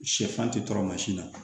Sɛfan tɛ tɔɔrɔ mansin na